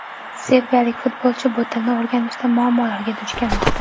Serbiyalik futbolchi bu tilni o‘rganishda muammolarga duch kelmoqda.